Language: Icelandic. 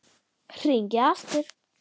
Hringi aftur!